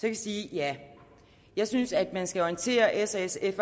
jeg sige ja jeg synes at man skal orientere s og sf